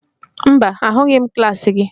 Mba, ahụghị m klaasị gị